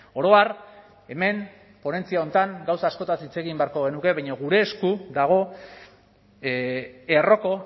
oro har hemen ponentzia honetan gauza askotaz hitz egin beharko genuke baina gure esku dago erroko